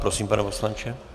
Prosím, pane poslanče.